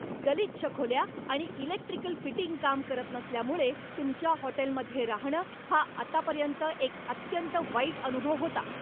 गलिच्छ खोल्या आणि इलेक्ट्रिकल फिटिंग काम करत नसल्यामुळे तुमच्या हॉटेलमध्ये राहणं हा आतापर्यंत एक अत्यंत वाईट अनुभव होता.